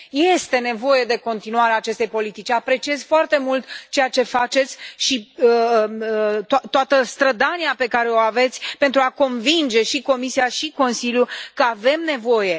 Este nevoie de continuarea acestei politici, apreciez foarte mult ceea ce faceți și toată strădania pe care o aveți pentru a convinge și Comisia și Consiliul că avem nevoie.